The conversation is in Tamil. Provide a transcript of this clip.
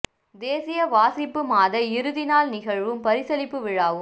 தேசிய வாசிப்பு மாத இறுதி நாள் நிகழ்வும் பரிசளிப்பு விழாவும்